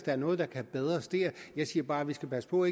er noget der kan forbedres der jeg siger bare at vi skal passe på